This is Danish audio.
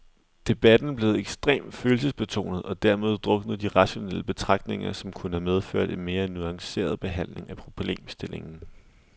Debatten blev ekstremt følelsesbetonet, og dermed druknede de rationelle betragtninger, som kunne have medført en mere nuanceret behandling af problemstillingen.